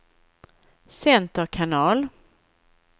center kanal